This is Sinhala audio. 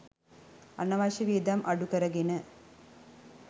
අනවශ්‍ය වියදම් අඩුකරගෙන